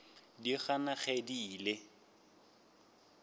di gana ge di ile